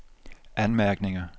anmærkninger